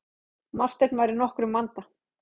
Marteinn var í nokkrum vanda.